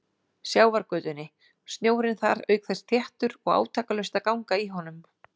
Sjávargötunni, snjórinn þar auk þess þéttur og átakalaust að ganga í honum.